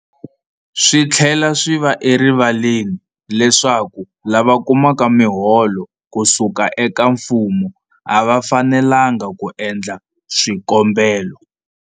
Swi tlhela swi va erivaleni leswaku lava kumaka miholo ku suka eka mfumo a va fanelanga ku endla swikombelo.